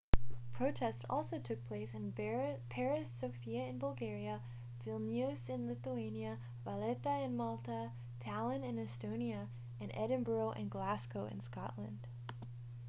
protests also took place in paris sofia in bulgaria vilnius in lithuania valetta in malta tallinn in estonia and edinburgh and glasgow in scotland